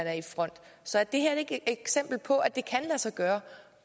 er i front så er det her ikke et eksempel på at det kan lade sig gøre